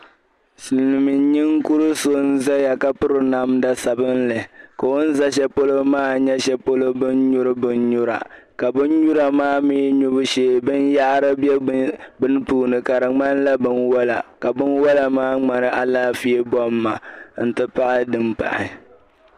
silimiin ninkuru so n zaya ka piri namda sabinli ka o ni za sha polo maa nyɛ bɛn nyuri bɛn nyura ka bɛn nyura maa mii nyubu sheei bɛnyaɣiri be bɛn puuni ka di ŋmanila bɛnwala ka bɛnwala maa ŋmani alaafee kom maa nti pahi din pahi.